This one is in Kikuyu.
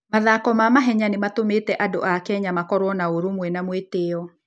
Mathako ma mahenya nĩ matũmĩte andũ a Kenya makorũo na ũrũmwe na mwĩtĩo.